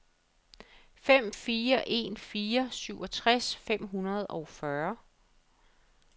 fem fire en fire syvogtres fem hundrede og fyrre